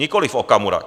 Nikoliv Okamura.